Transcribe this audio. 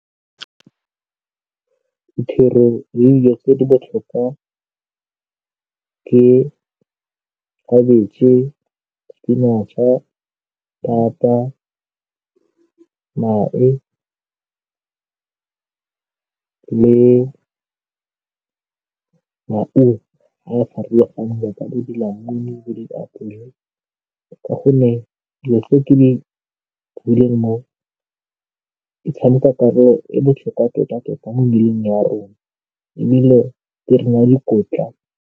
Dithoro le dilo tse di botlhokwa ke khabetšhe, spinach-a, thata mae le maungo a a farologaneng yaka bo dilamuni, bo diapole ka gonne di leng mo, di tshameka karolo e botlhokwa tota-tota mo mmeleng ya rona ebile di re naya dikotla.